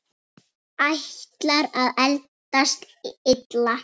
Ætlar að eldast illa.